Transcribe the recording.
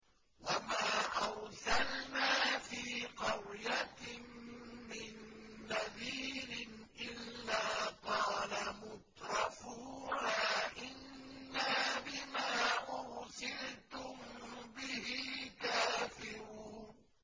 وَمَا أَرْسَلْنَا فِي قَرْيَةٍ مِّن نَّذِيرٍ إِلَّا قَالَ مُتْرَفُوهَا إِنَّا بِمَا أُرْسِلْتُم بِهِ كَافِرُونَ